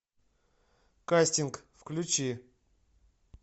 кастинг включи